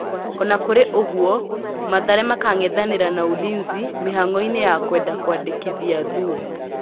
Ona kũrĩ ũgũo, Mathare makang'ethanĩra na Ulinzi mĩhang'oinĩ ya kwenda kwandĩkithia Thuo.